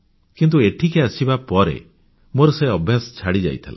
କିନ୍ତୁ ଏଠିକି ଆସିବା ପରେ ମୋର ସେ ଅଭ୍ୟାସ ଛାଡ଼ିଯାଇଥିଲା